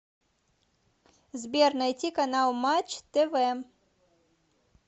сбер найти канал матч тв